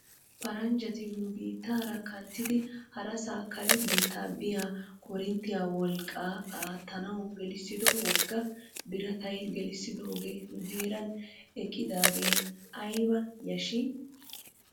Paranjjati nu biittaara kanttidi harasaa kare biitta biyaa korinttiyaa wolqqaa aattanaw gelissido wogga birataa gelissidoogee nu heeran eqqidaagee ayba yashshii?